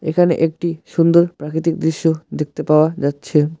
এখানে একটি সুন্দর প্রাকৃতিক দৃশ্য দেখতে পাওয়া যাচ্ছে।